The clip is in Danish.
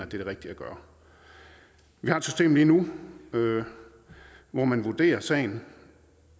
det rigtige at gøre vi har et system lige nu hvor man vurderer sagen